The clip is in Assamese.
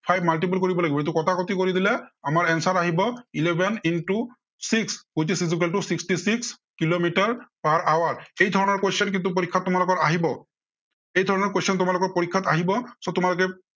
multiple কৰিব লাগিব, এইটো কটাকটি কৰি দিলে, আমাৰ answer আহিব eleven into six which is qqual to sixty six kilometre per hour এই ধৰণৰ qurstion কিন্তু পৰীক্ষাত আমাৰ আহিব এই ধৰণৰ question তোমালোকৰ আহিব, so তোমালোকে